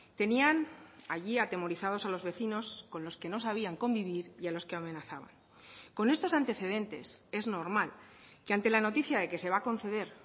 tenían allí atemorizados a los vecinos con los que no sabían convivir y a los que amenazaban con estos antecedentes es normal que ante la noticia de que se va a conceder